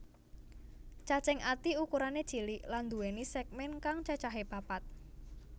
Cacing ati ukurané cilik lan nduwèni sègmèn kang cacahé papat